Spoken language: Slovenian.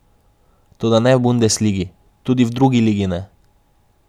Toda ne v bundesligi, tudi v drugi ligi ne.